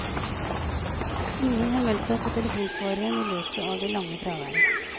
Ingen har meldt seg på telefonsvareren i løpet av det lange fraværet.